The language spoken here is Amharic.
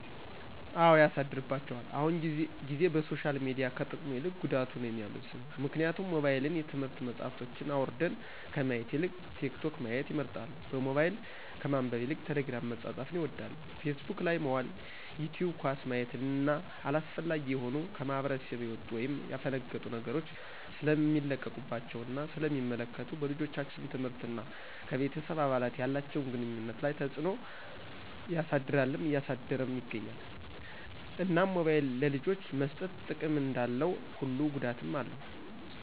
አው ያሳድርባቸዋል አሁን ጊዜ በሶሻል ሚዲያው ከጥቅሙ ይልቅ ጉዳቱ ነው የሚመዝነው ምክንያቱም ሞባይልን የትምህርት መፅሐፎችን አውራድን ከማየት ይልቅ ቲክቶክ ማየት ይመርጣሉ በሞባይል ከማንበብ ይልቅ ቴሊግርም መፃፃፍን ይወዳሉ ፊስቡክ ላይ መዋል ይቲውብ ኳስ ማየት እነ አላስፈላጊ የሆኑ ከማህብረስብ የውጡ ወይም የፈነገጡ ነገሮች ሰለሚለቀቀባቸው እና ስለ ሚመለከቱ በልጆቻችን ትምህርት እና ከቤተሰብ አባላት ያላቸውን ግኑኝነት ላይ ተፅዕኖ ያሰድርልም እያሳደረም ይገኛል። እናም ሞባይል ለልጆች መሰጠት ጥቅም እንዳለው ሁሉ ጉዳትም አለው